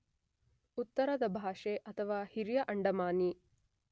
ಉತ್ತರದ ಭಾಷೆ ಅಥವಾ ಹಿರಿಯ ಅಂಡಮಾನಿ.